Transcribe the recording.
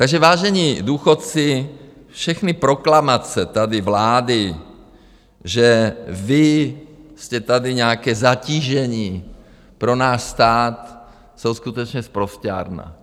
Takže vážení důchodci, všechny proklamace tady vlády, že vy jste tady nějaké zatížení pro náš stát, jsou skutečně sprosťárna.